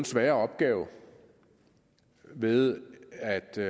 sværere opgave ved at de